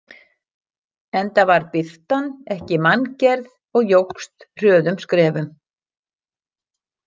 Enda var birtan ekki manngerð og jókst hröðum skrefum.